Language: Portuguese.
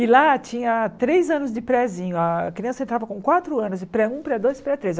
E lá tinha três anos de prézinho, a criança entrava com quatro anos de pré um, pré dois, e pré três.